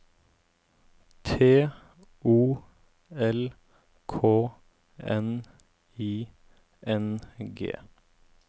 T O L K N I N G